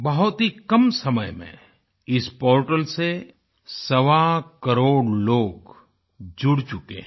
बहुत ही कम समय में इस पोर्टल से सवाकरोड़ लोग जुड़ चुके हैं